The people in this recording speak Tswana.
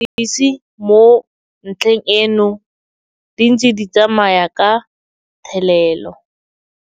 Dipatlisiso tsa mapodisi mo ntlheng eno di ntse di tsamaya ka thelelo.